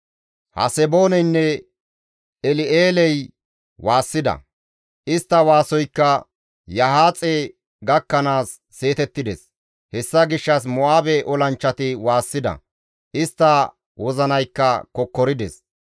Hasebooneynne El7eeley waassida; istta waasoykka Yahaaxe gakkanaas seetettides. Hessa gishshas Mo7aabe olanchchati waassida; istta wozinaykka kokkorides.